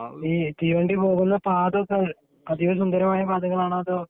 ഈ തീവണ്ടി പോകുന്ന പാതയൊക്കെ അതീവ സുന്ദരമായ പാതയാണോ അതോ